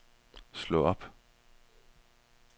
slå op